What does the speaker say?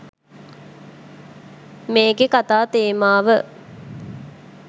මේකේ කතා තේමාව.